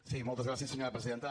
sí moltes gràcies senyora presidenta